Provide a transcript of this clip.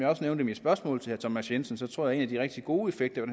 også nævnte i mit spørgsmål til herre thomas jensen tror jeg af de rigtig gode effekter af